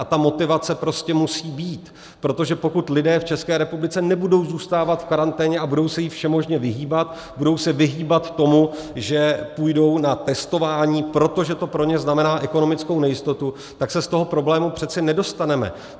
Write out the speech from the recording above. A ta motivace prostě musí být, protože pokud lidé v České republice nebudou zůstávat v karanténě a budou se jí všemožně vyhýbat, budou se vyhýbat tomu, že půjdou na testování, protože to pro ně znamená ekonomickou nejistotu, tak se z toho problému přece nedostaneme.